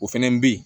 O fɛnɛ bɛ ye